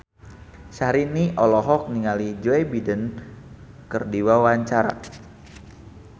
Syahrini olohok ningali Joe Biden keur diwawancara